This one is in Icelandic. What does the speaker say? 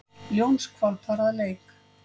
Ljónshvolpar að leik.